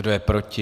Kdo je proti?